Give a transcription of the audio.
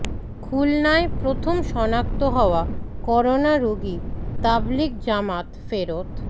খুলনায় প্রথম শনাক্ত হওয়া করোনা রোগী তাবলীগ জামাত ফেরত